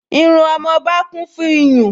Irú ọmọba kún fún iyùn